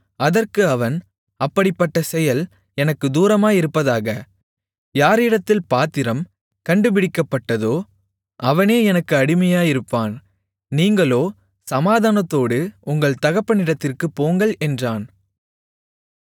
அதற்கு அவன் அப்படிப்பட்ட செயல் எனக்குத் தூரமாயிருப்பதாக யாரிடத்தில் பாத்திரம் கண்டுபிடிக்கப்பட்டதோ அவனே எனக்கு அடிமையாயிருப்பான் நீங்களோ சமாதானத்தோடு உங்கள் தகப்பனிடத்திற்குப் போங்கள் என்றான்